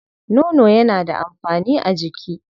Nono yana da amfani a jiki.